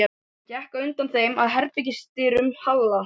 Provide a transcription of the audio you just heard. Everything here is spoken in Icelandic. Hún gekk á undan þeim að herbergis- dyrum Halla.